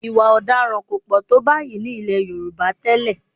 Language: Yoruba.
Ì̀wà ọ̀daràn kò pọ̀ tó báyìí ní ilẹ̀ Yorùbá tẹ́lẹ̀